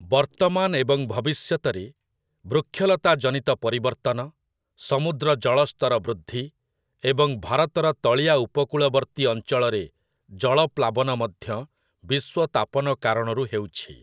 ବର୍ତ୍ତମାନ ଏବଂ ଭବିଷ୍ୟତରେ ବୃକ୍ଷଲତା ଜନିତ ପରିବର୍ତ୍ତନ, ସମୁଦ୍ର ଜଳସ୍ତର ବୃଦ୍ଧି, ଏବଂ ଭାରତର ତଳିଆ ଉପକୂଳବର୍ତ୍ତୀ ଅଞ୍ଚଳରେ ଜଳପ୍ଲାବନ ମଧ୍ୟ ବିଶ୍ୱ ତାପନ କାରଣରୁ ହେଉଛି ।